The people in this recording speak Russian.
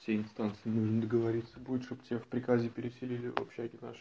все инстанции нужно договориться будет чтобы тебя в приказе переселили в общаге нашей